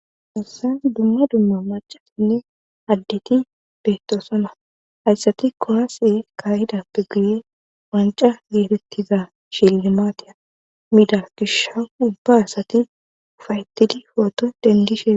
Assan dumma dumma macasinne addeti beettosonna hayssati kowase kahidappe guye wanca geetettiza shillimaatiya mida gisha ubba asati ufayetidi pooto dendishe.